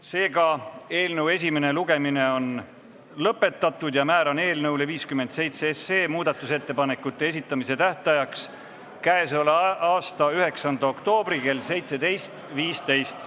Seega on eelnõu esimene lugemine lõpetatud ja määran eelnõu 57 muudatusettepanekute esitamise tähtajaks k.a 9. oktoobri kell 17.15.